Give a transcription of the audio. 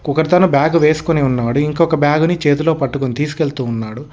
ఒకతను బ్యాగు వేసుకొని ఇంకోక బ్యాగ్ ని చేతిలో పట్టుకొని తీసుకెళ్తూ ఉన్నాడు.